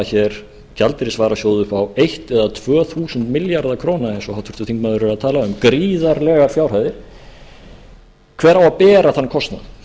hér gjaldeyrisvarasjóð upp á eitt eða tvöþúsund milljarða króna eins og háttvirtur þingmaður er að tala um gríðarlegar fjárhæðir hver á að bera þann kostnað